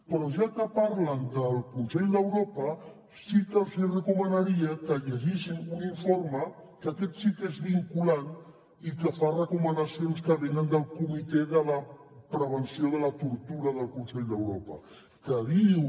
però ja que parlen del consell d’europa sí que els hi recomanaria que llegissin un informe que aquest sí que és vinculant i que fa recomanacions que venen del comitè de la prevenció de la tortura del consell d’europa que diu